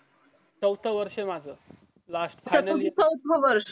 चवथा वर्ष माझा last final year